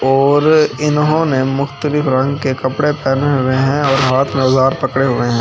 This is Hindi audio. और इन्होंने मुख्तलिफ रंग के कपड़े पहने हुए हैं और हाथ में उजार पकड़े हुए हैं।